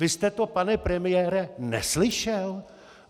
Vy jste to, pane premiére, neslyšel?